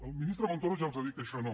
el ministre montoro ja els ha dit que això no